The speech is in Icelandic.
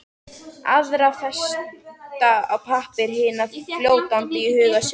Aðra festa á pappír, hina fljótandi í huga sér.